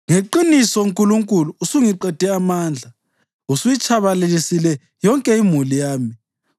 Ngeqiniso, Nkulunkulu, usungiqede amandla; usuyitshabalalisile yonke imuli yami.